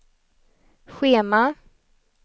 schema